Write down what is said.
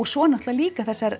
svo er náttúrulega líka þessar